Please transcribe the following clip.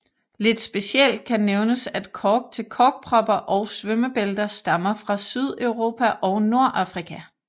Lidt specielt kan nævnes at kork til korkpropper og svømmebælter stammer fra Sydeuropa og Nordafrika